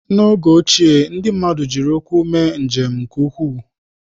N'oge ochie, ndị mmadụ jiri ụkwụ mee njem nke ukwuu.